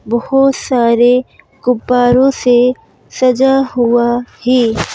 बहुत सारे गुब्बारों से सजा हुआ है।